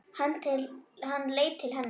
Hann leit til hennar.